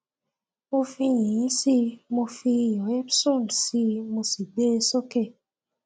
mo fi yìnyín sí i mo fi iyọ epson sí i mo sì gbé e sókè